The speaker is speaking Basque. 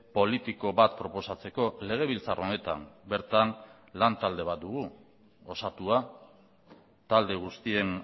politiko bat proposatzeko legebiltzar honetan bertan lan talde bat dugu osatua talde guztien